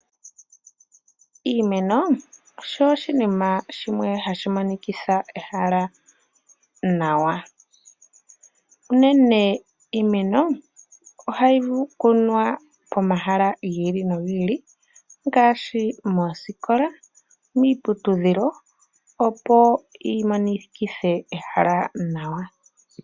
Iimeno osho oshinima shimwe hashi monikitha ehala nawa. Unene iimeno, ohayi kunwa pomahala gi ili nogi ili , ngaashi mooskola, miiputudhilo opo yi monikithe ehala nawa.